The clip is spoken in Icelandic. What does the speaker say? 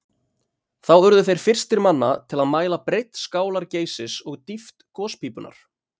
Þá urðu þeir fyrstir manna til að mæla breidd skálar Geysis og dýpt gospípunnar.